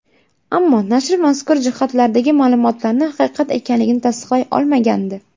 Ammo nashr mazkur hujjatlardagi ma’lumotlarni haqiqat ekanligini tasdiqlay olmagandi.